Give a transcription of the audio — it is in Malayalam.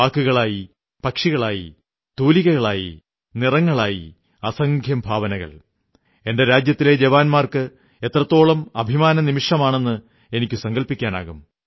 വാക്കുകളായി പക്ഷികളായി തൂലികകളായി നിറങ്ങളായി അസംഖ്യം ഭാവനകൾ എന്റെ രാജ്യത്തിലെ ജവാന്മാർക്ക് എത്രത്തോളം അഭിമാനനമിഷമാണെന്ന് എനിക്കു സങ്കല്പിക്കാനാകും